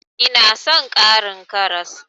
Ina son ƙarin karas.